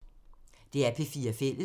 DR P4 Fælles